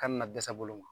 Ka na dɛsɛ bolo ma